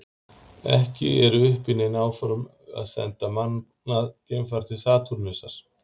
Ekki eru uppi nein áform að senda mannað geimfar til Satúrnusar.